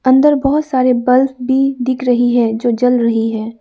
अंदर बहोत सारे बल्ब भी दिख रही है जो जल रही है।